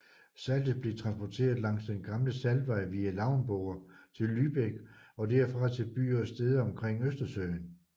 Saltet blev transportert langs den gamle saltvej via Lauenburg til Lübeck og derfra til byer og steder omkring Østersøen